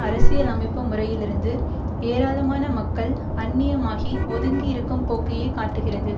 அரசியல் அமைப்பு முறையிலிருந்து ஏராளமான மக்கள் அந்நியமாகி ஒதுங்கி இருக்கும் போக்கையே காட்டுகிறது